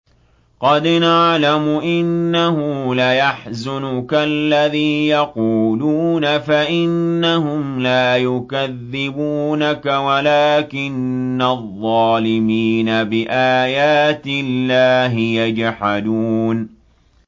قَدْ نَعْلَمُ إِنَّهُ لَيَحْزُنُكَ الَّذِي يَقُولُونَ ۖ فَإِنَّهُمْ لَا يُكَذِّبُونَكَ وَلَٰكِنَّ الظَّالِمِينَ بِآيَاتِ اللَّهِ يَجْحَدُونَ